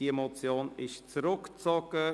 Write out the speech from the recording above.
Diese Motion wurde zurückgezogen.